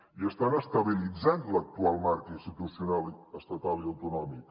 i estan estabilitzant l’actual marc institucional estatal i autonòmic